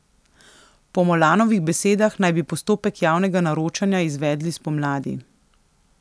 Po Molanovih besedah naj bi postopek javnega naročanja izvedli spomladi.